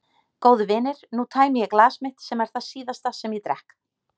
Góðu vinir, nú tæmi ég glas mitt sem er það síðasta sem ég drekk.